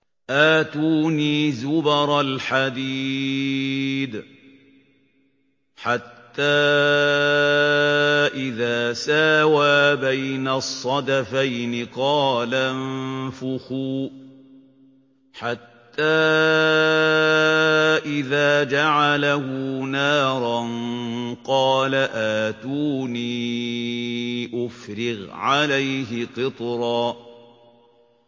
آتُونِي زُبَرَ الْحَدِيدِ ۖ حَتَّىٰ إِذَا سَاوَىٰ بَيْنَ الصَّدَفَيْنِ قَالَ انفُخُوا ۖ حَتَّىٰ إِذَا جَعَلَهُ نَارًا قَالَ آتُونِي أُفْرِغْ عَلَيْهِ قِطْرًا